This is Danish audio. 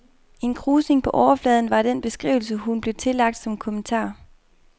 En krusning på overfladen var den beskrivelse, hun blev tillagt som kommentar.